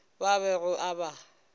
bao a bego a ba